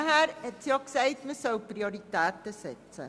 Weiter empfahl sie, Prioritäten zu setzen.